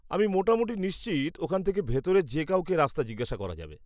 আমি মোটামুটি নিশ্চিত ওখান থেকে ভিতরের যে কাউকে রাস্তা জিজ্ঞাসা করা যাবে।